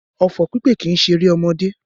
Ọfọ̀ pípè kìí ṣeré ọmọdé